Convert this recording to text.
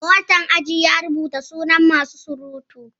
Monitan aji ya rubuta sunan masu surutu